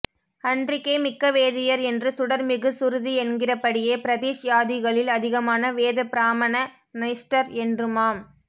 அன்றிக்கே மிக்க வேதியர் என்று சுடர் மிகு சுருதி என்கிறபடியே பிரதிஷ் யாதிகளில் அதிகமான வேத பிரமாண நிஷ்டர் என்றுமாம்